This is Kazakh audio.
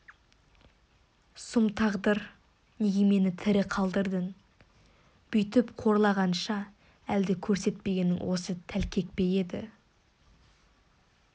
сұм тағдыр неге мені тірі қалдырдың бүйтіп қорлағанша әлде көрсетпегің осы тәлкек пе еді